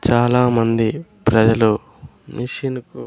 చాలామంది ప్రజలు మిషిను కు --